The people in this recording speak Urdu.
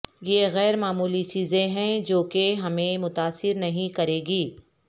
یہ غیر معمولی چیزیں ہیں جو کہ ہمیں متاثر نہیں کریں گی